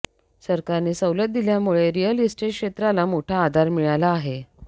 सरकारने सवलत दिल्यामुळे रिअल इस्टेट क्षेत्राला मोठा आधार मिळाला आहे